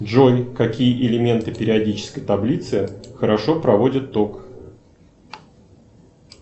джой какие элементы периодической таблицы хорошо проводят ток